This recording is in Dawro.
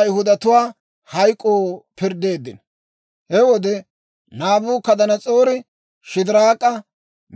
He wode Naabukadanas'oori Shidiraak'a,